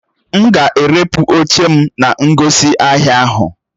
M ga-erepụ oche m na ngosi ahia ahụ.